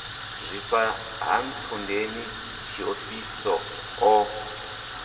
zwifha ha ntsundeni tshiofhiso o